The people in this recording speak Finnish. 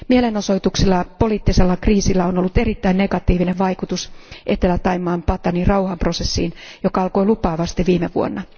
Mielenosoituksilla ja poliittisella kriisillä on ollut erittäin negatiivinen vaikutus Etelä Thaimaan Patani rauhanprosessiin, joka alkoi lupaavasti viime vuonna.